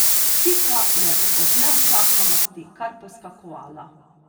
Pika je od neučakanosti kar poskakovala.